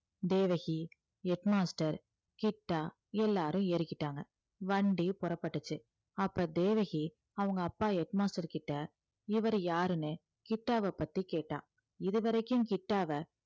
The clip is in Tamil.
தேவகி head master கிட்டா எல்லாரும் ஏறிக்கிட்டாங்க வண்டி புறப்பட்டுச்சு அப்ப தேவகி அவங்க அப்பா head master கிட்ட இவரு யாருன்னு கிட்டாவ பத்தி கேட்டா இது வரைக்கும் கிட்டாவை